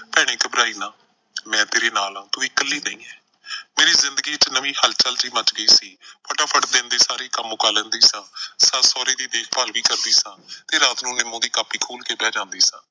ਭੈਣੇ ਘਬਰਾਈ ਨਾ ਮੈਂ ਤੇਰੇ ਨਾਲ ਆਂ ਤੂੰ ਇਕੱਲੀ ਨਈਂ ਐ। ਮੇਰੇ ਜ਼ਿੰਦਗੀ ਚ ਨਵੀਂ ਹਲਚਲ ਜਿਹੀ ਮੱਚ ਗਈ ਸੀ। ਫਟਾਫਟ ਦਿਨ ਦੇ ਸਾਰੇ ਕੰਮ ਮੁਕਾ ਲੈਂਦੀ ਸਾਂ, ਸੱਸ ਸਹੁਰੇ ਦੀ ਦੇਖਭਾਲ ਵੀ ਕਰਦੀ ਸਾਂ ਤੇ ਰਾਤ ਨੂੰ ਨਿਮੋਂ ਦੀ ਕਾਪੀ ਖੋਲ੍ਹ ਕੇ ਬਹਿ ਜਾਂਦੀ ਸਾਂ।